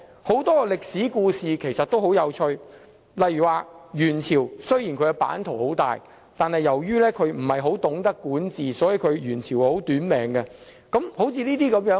很多歷史故事其實十分有趣，例如元朝的版圖雖然很大，但由於不太懂得管治，所以元朝相當"短命"。